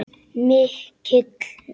Mikill friður yfir honum.